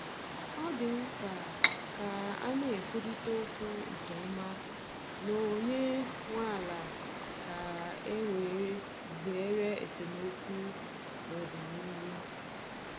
Ọ dị mkpa ka a na-ekwurịta okwu nke ọma na onye nwe ala ka e wee zere esemokwu n’ọdịnihu.